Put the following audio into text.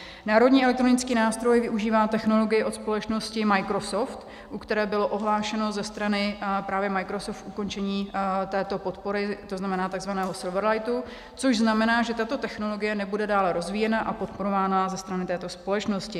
Národní elektronický nástroj využívá technologii od společnosti Microsoft, u které bylo ohlášeno ze strany právě Microsoftu ukončení této podpory, to znamená takzvaného Silverlightu, což znamená, že tato technologie nebude dále rozvíjena a podporována ze strany této společnosti.